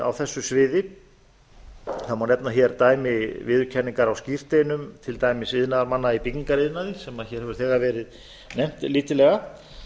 á þessu sviði það má nefna dæmi til viðurkenningar á skírteinum til dæmis iðnaðarmanna í byggingariðnaði sem hér hefur þegar verið nefnt lítillega en